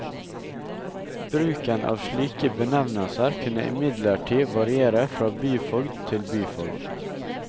Bruken av ulike benvnelser kunne imidlertid variere fra byfogd til byfogd.